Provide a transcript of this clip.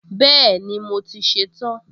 Bẹ́ẹ̀ni, mo ti ṣe tán